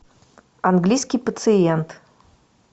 английский пациент